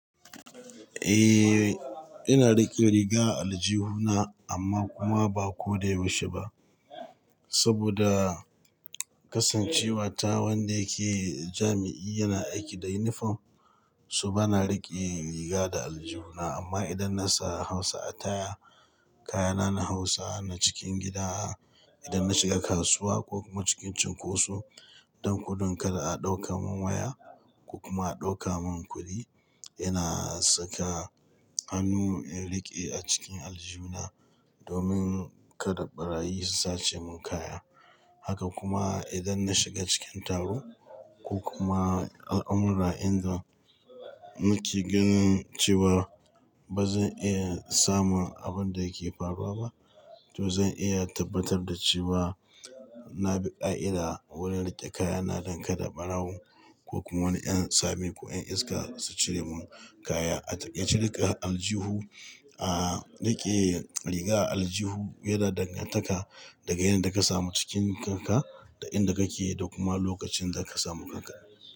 Eh, ina riƙe riga aljihu na amma kuma ba ko da yaushe ba. Saboda kasancewa ta wanda yake jami'i yana aiki da yunifom, so bana riƙe riga da aljihu na. Amma idan na sa Hausa ataya, kayana na Hausa na cikin gida, idan na shiga kasuwa ko kuma cikin cunkoso don gudun kada a ɗauka mun waya ko kuma a ɗauka mun kuɗi, ina saka hannu in riƙe a cikin aljihu na domin kada ɓarayi su sace mun kaya. Haka kuma idan na shiga cikin taro ko kuma al'amura inda nake ganin cewa ba zan iya samun abin da yake faruwa ba, to zan iya tabbatar da cewa na bi ƙa'ida wurin riƙe kaya na don kada ɓarawo ko kuma wani ƴan tsami ko ƴan iska su cire mun kaya. A ciki riƙe aljihu, ah riƙe riga aljihu yana dangantaka da ga yadda ka samu cikin kanka da inda kake da kuma lokacin da ka samu kanka.